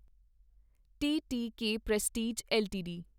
T T K Prestige LTD